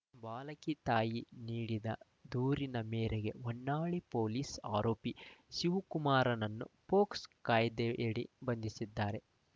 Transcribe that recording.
ಬಾಲಕಿ ತಾಯಿ ನೀಡಿದ ದೂರಿನ ಮೇರೆಗೆ ಹೊನ್ನಾಳಿ ಪೊಲೀಸರು ಆರೋಪಿ ಶಿವಕುಮಾರನನ್ನು ಪೋಕ್ಸೋ ಕಾಯ್ದೆಯಡಿ ಬಂಧಿಸಿದ್ದಾರೆ